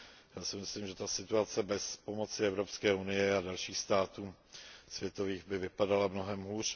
Já si myslím, že ta situace bez pomoci Evropské unie a dalších států by vypadala mnohem hůř.